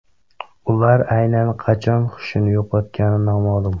Ular aynan qachon xushini yo‘qotgani noma’lum.